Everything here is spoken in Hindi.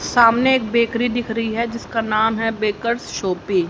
सामने एक बेकरी दिख रही है उसका नाम है बेकर्स शॉपी ।